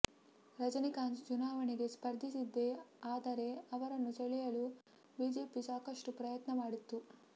ರಜನಿಕಾಂತ್ ಚುನಾವಣೆಗೆ ಸ್ಪರ್ಧಿಸಿದ್ದೇ ಆದರೆ ಅವರನ್ನು ಸೆಳಲೆಯಲು ಬಿಜೆಪಿ ಸಾಕಷ್ಟು ಪ್ರಯತ್ನ ಮಾಡಿತ್ತು